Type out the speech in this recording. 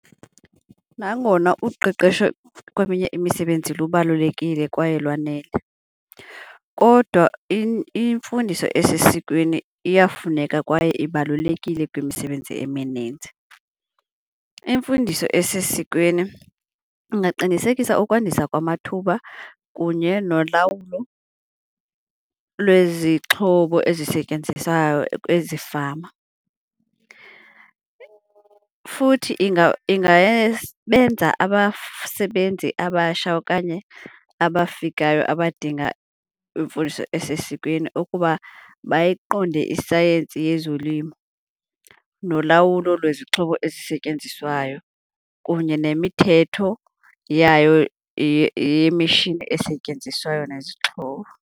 Nangona uqeqesho kweminye imisebenzi lubalulekile kwaye lwanele, kodwa imfundiso esesikweni iyafuneka kwaye ibalulekile kwimisebenzi emininzi. Imfundiso esesikweni ingaqinisekisa ukwandisa kwamathuba kunye nolawulo lwezixhobo ezisetyenziswayo ezifama. Futhi benza abasha okanye abafikayo abadinga imfundiso esesikweni ukuba bayiqonde isayensi yezolimo, nolawulo lwezixhobo esisetyenziswayo kunye nemithetho yayo yemishini esetyenziswayo nezixhobo.